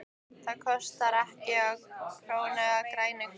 Það kostaði hana ekki krónu með grænu gati.